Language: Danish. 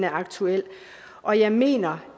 aktuel og jeg mener